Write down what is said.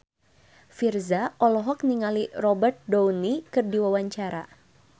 Virzha olohok ningali Robert Downey keur diwawancara